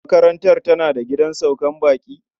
Makarantar tana da gidan saukar baƙi?